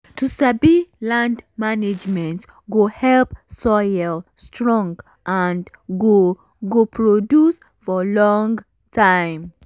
to sabi land management go help soil strong and go go produce for long time